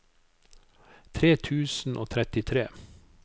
tre tusen og trettitre